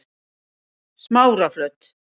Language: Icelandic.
Smáraflöt